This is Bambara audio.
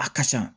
A ka ca